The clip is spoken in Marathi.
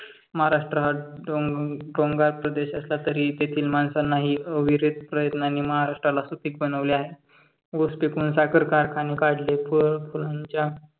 महाराष्ट्र डोंगराळ प्रदेश असला तरी तेथील माणसांनाही अविरत प्रयत्न आणि महाराष्ट्राला सुपीक बनवले आहे. ऊस पिकवून साखर कारखाने काढले व